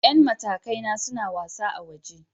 Yan matakai na suna wasa a waje.